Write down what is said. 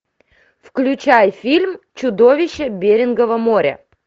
включай фильм чудовище берингова моря